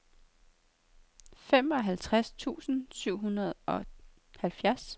femoghalvtreds tusind syv hundrede og halvfjerds